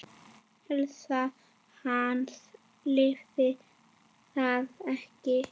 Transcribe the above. Heilsa hans leyfði það ekki.